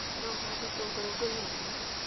No ũhande itũngũrũ ngũniainĩ.